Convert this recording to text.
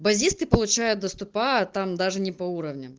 базисный получают доступа а там даже не по уровням